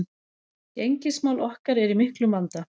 Gengismál okkar eru í miklum vanda